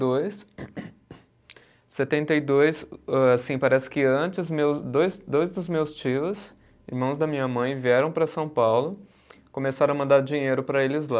dois, setenta e dois, âh assim, parece que antes meus, dois dois dos meus tios, irmãos da minha mãe, vieram para São Paulo, começaram a mandar dinheiro para eles lá.